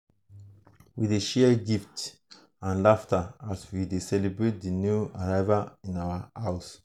we dey share gifts and laughter as we celebrate the new arrival in our home.